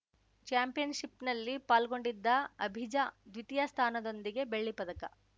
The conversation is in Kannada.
ಚಾಂಪಿಯನ್‌ಷಿಪ್‌ನಲ್ಲಿ ಪಾಲ್ಗೊಂಡಿದ್ದ ಅಭಿಜಾ ದ್ವಿತೀಯ ಸ್ಥಾನದೊಂದಿಗೆ ಬೆಳ್ಳಿ ಪದಕ